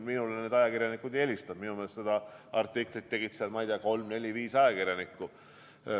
Minule need ajakirjanikud ei helistanud, minu meelest seda artiklit tegid seal, ma ei tea, kolm-neli või viis ajakirjanikku.